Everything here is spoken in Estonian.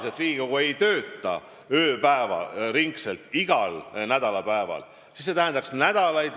Ja kuna Riigikogu ei tööta igal nädalapäeval ööpäevaringselt, tähendanuks see nädalaid.